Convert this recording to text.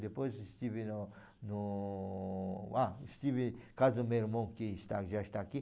Depois estive no no... Ah, estive em casa do meu irmão, que está já está aqui.